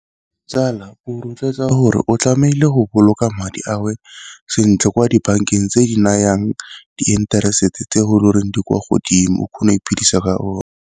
Tsala o rotloetsa gore o tlamehile go boloka madi ao sentle kwa dibankeng tse di nayang di-interest tse e le goreng di kwa godimo o kgona go iphidisa ka ona.